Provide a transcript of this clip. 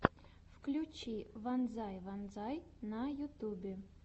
включи вонзай вонзай на ютюбе